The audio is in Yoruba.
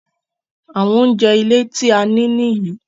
Àwọn oúnjẹ ilé tí a nì nìyí